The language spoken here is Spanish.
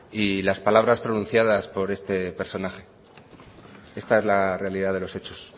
y las palabras pronunciada por este personaje esta es la realidad de los hechos